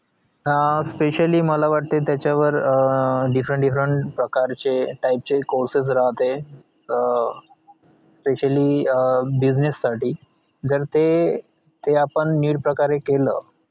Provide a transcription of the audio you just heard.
हा specially मला वाटतंय त्याच्यावर different different प्रकारचे type चे courses राहते अं specially business साठी जर ते ते आपण नीट प्रकारे केलं